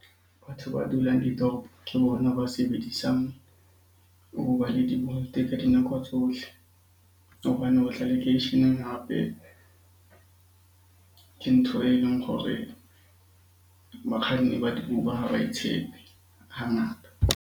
Batho ba dulang ke bona ba sebedisang Uber le di-Bolt ka dinako tsohle. Hobane lekeisheneng hape ke ntho e leng gore bakganni ba di-Uber ha ba e tshepe hangata.